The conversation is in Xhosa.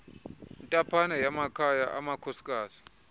intaphane yamakhaya amakhosikazi